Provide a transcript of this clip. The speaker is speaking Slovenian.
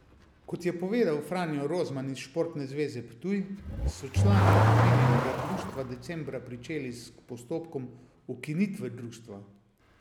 Kot je povedal Franjo Rozman iz Športne zveze Ptuj, so člani omenjenega društva decembra pričeli s postopkom ukinitve društva.